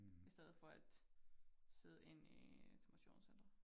I stedet for at sidde inde i et motionscenter